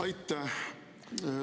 Aitäh!